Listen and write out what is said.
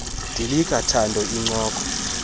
dilika thando incoko